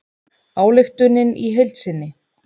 Ályktunin í heild sinni